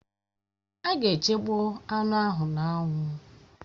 Èè, a ga-echekpọ anụ ahụ n'anwụ